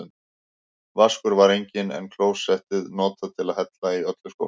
Vaskur var enginn, en klósettið notað til að hella í öllu skólpi.